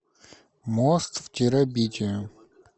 мост в терабитию